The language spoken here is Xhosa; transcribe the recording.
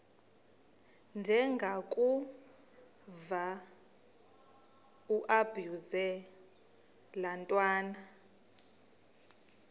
ndengakuvaubuse laa ntwana